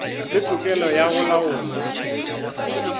le tokelo ya go laola